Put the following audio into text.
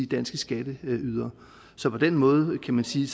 danske skatteydere så på den måde kan man sige